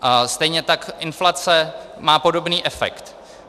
Stejně tak inflace má podobný efekt.